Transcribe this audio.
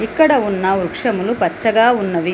ఇక్కడ ఉన్న వృక్షములు పచ్చగా ఉన్నవి.